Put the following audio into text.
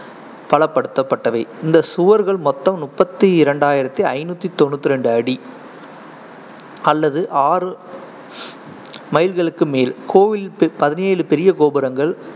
பலப்படுத்தப்பட்டவை. இந்த சுவர்கள் மொத்தம் முப்பத்தி ரெண்டாயிரத்தி ஐந்நூத்தி தொண்ணூத்தி ரெண்டு அடி அல்லது ஆறு மைல்களுக்கு மேல். கோயிலில் பதினேழு பெரிய கோபுரங்கள்